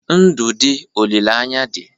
Ndụ dị, olileanya dị.